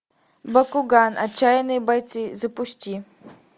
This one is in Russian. бакуган отчаянные бойцы запусти